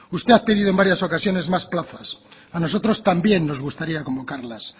usted ha pedido en varias ocasiones más plazas a nosotros también nos gustaría convocarlas